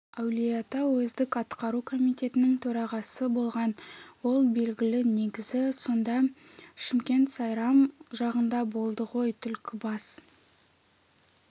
әулиеата уездік атқару комитетінің төрағасы болған ол белгілі негізі сонда шымкент сайрам жағында болды ғой түлкібас